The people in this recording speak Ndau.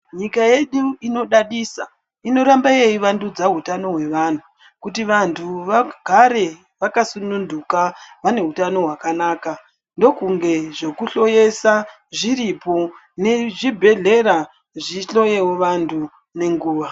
Nyika yedu inodadisa, inoramba yeyivandudza hutano hwevanhu, kuti vanhu vegare vakasununduka vanehutano hwakanaka. Ndokunge zvokuhloyesa zviripo nezvibhedhlera zvihloyewo vantu nenguwa.